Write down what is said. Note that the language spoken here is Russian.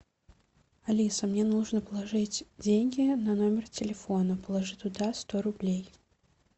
алиса мне нужно положить деньги на номер телефона положи туда сто рублей